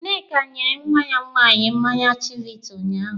Nneka nyere nwa ya nwaanyị mmanya chivita unyaahụ.